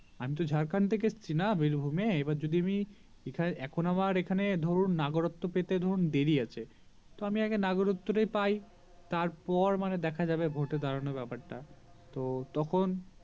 আমি তো ঝাড়খন্ড থেকে এসেছি বীরভূম এ এবার যদি আমি এখন আবার এখানে ধরুন নাগরত্ত্ব পেতে ধরুন দেরি আছে তো আমি আগে নাগারাতত্ত্ব তাই পাই তারপরে দেখা যাবে ভোট এড়ানোর ব্যাপারটা তো তখন